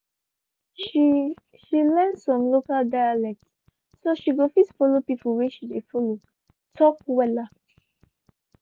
she she learn some local dialect so she go fit follow people whey she dey follow talk wella